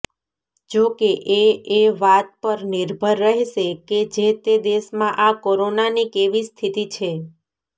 જોકે એ એ વાત પર નિર્ભર રહેશે કે જેતે દેશમાં આ કોરોનાની કેવી સ્થિતિ છે